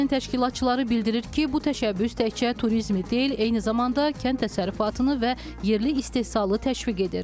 Layihənin təşkilatçıları bildirir ki, bu təşəbbüs təkcə turizmi deyil, eyni zamanda kənd təsərrüfatını və yerli istehsalı təşviq edir.